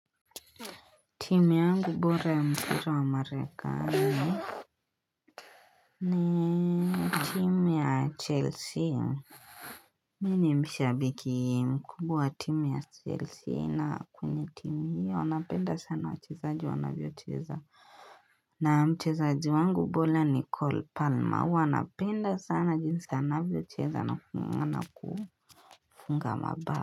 Timi yangu bora ya mpira wa marekani ni timi ya chelsea. Mimi ni mshabiki mkubwa wa timu ya chelsea na kwenye timu hii napenda sana wachezaji wanavyocheza. Na mchezaji wangu bora Nicole Palmer huwanapenda sana jinsi anavyocheza na kufunga mabao.